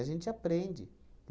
A gente aprende.